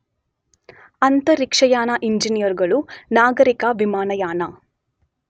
ಅಂತರಿಕ್ಷಯಾನ ಇಂಜಿನಿಯರುಗಳು, ನಾಗರಿಕ ವಿಮಾನಯಾನ